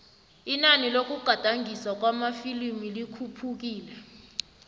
inani lokugadangiswa kwamafilimu likhuphukile